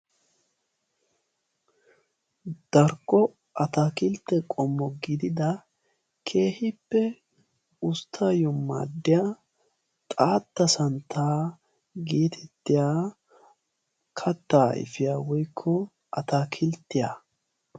Darkko ataakiltte qommo gidida keehippe usttaayyo maaddiya "xaatta santtaa" geetettiya kattaa ayfiyaa woykko ataakilttiyaa.